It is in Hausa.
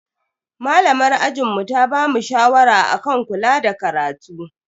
Malamar ajinmu ta bamu shawara akan kula da karatu.